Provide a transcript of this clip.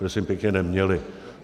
Prosím pěkně neměli.